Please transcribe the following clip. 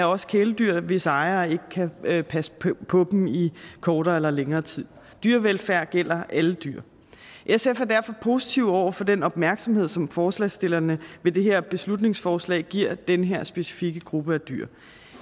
også kæledyr hvis ejere ikke kan passe på dem i kortere eller længere tid dyrevelfærd gælder alle dyr sf er derfor positiv over for den opmærksomhed som forslagsstillerne med det her beslutningsforslag giver den her specifikke gruppe af dyr